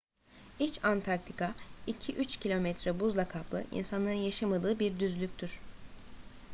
i̇ç antarktika 2-3 km buzla kaplı insanların yaşamadığı bir düzlüktür